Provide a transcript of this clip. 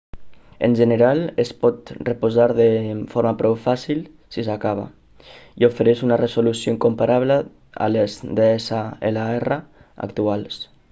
en general es pot reposar de forma prou fàcil si s'acaba i ofereix una resolució comparable a les dslr actuals